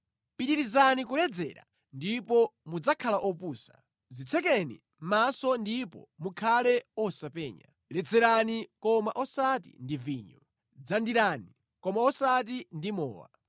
Pitirizani kuledzera ndipo mudzakhala opusa. Dzitsekeni mʼmaso ndipo mukhale osapenya, ledzerani, koma osati ndi vinyo, dzandirani, koma osati ndi mowa.